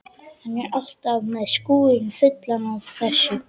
Hann er alltaf með skúrinn fullan af þessu.